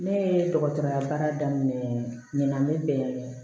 Ne ye dɔgɔtɔrɔya baara daminɛ ɲinɛn